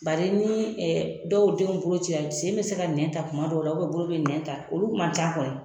Bari ni dɔw denw bolo cira sen bɛ se ka nɛn ta kuma dɔw la bolo bɛ nɛn ta olu man ca kɔni